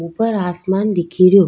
ऊपर आसमान दिख रो।